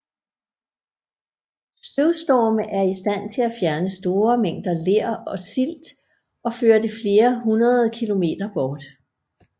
Støvstorme er i stand til at fjerne store mængder ler og silt og føre det flere hundrede km bort